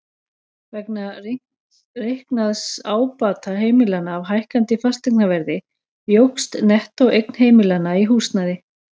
Vegna reiknaðs ábata heimilanna af hækkandi fasteignaverði jókst nettóeign heimilanna í húsnæði.